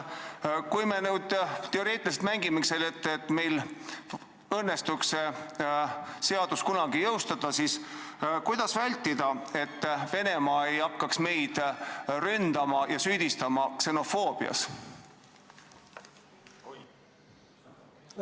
Kui me nüüd teoreetiliselt mängime, et meil õnnestuks seadus kunagi jõustada, siis kuidas vältida, et Venemaa ei hakkaks meid ründama ja süüdistama ksenofoobias?